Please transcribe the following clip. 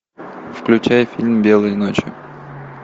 включай фильм белые ночи